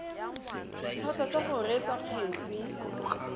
dithata tsa go reetsa kgetse